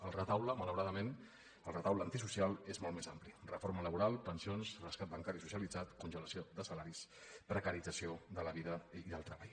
el retaule malauradament el retaule antisocial és molt més ampli reforma laboral pensions rescat bancari socialitzat congelació de salaris precarització de la vida i el treball